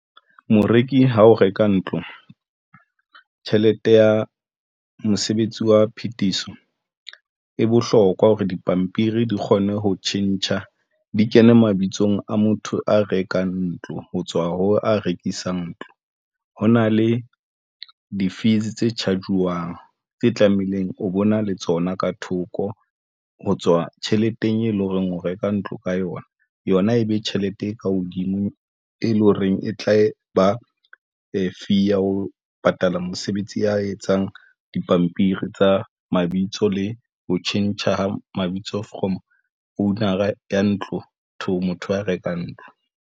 Moreki ha o reka ntlo. Tjhelete ya mosebetsi wa phethiso e bohlokwa hore dipampiri di kgone ho tjhentjha, di kene mabitsong a motho a rekang ntlo ho tswa ho a rekisang ntlo. Ho na le di-fees tse charge-wang tse tlamehileng o bona le tsona ka thoko ho tswa tjheleteng, e leng horeng o reka ntlo ka yona. Yona e be tjhelete e ka hodimo, e leng horeng e tla e ba fee ya ho patala mosebetsi a etsang dipampiri tsa mabitso le ho tjhentjha mabitso from owner-a ya motho wa ntlo to ho motho a rekang ntlo.